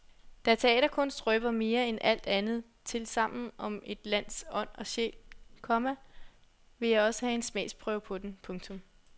Da teaterkunst røber mere end alt andet tilsammen om et lands ånd og sjæl, komma ville jeg også have en smagsprøve på den. punktum